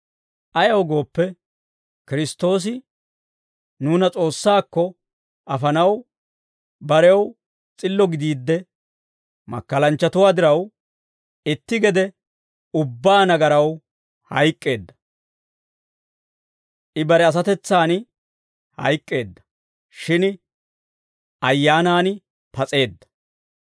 Ayaw gooppe, Kiristtoosi nuuna S'oossaakko afanaw, barew s'illo gidiidde, makkalanchchatuwaa diraw, itti gede ubbaa nagaraw hayk'k'eedda; I bare asatetsan hayk'k'eedda; shin ayyaanan pas'eedda.